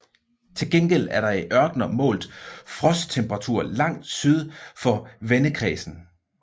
Til gengæld er der i ørkener målt frosttemperaturer langt syd for vendekredsen